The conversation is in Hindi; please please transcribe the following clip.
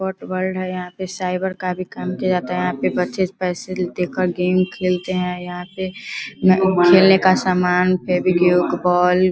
स्पोर्ट वर्ल्ड है यहाँ पे साइबर का भी काम किया जाता है यहाँ पे बच्चे पैसे देकर गेम खेलते हैं यहाँ पे खेलने का सामान फेवी-क्यूक बॉल --